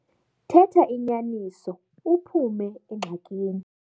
Thetha inyaniso uphume engxakini.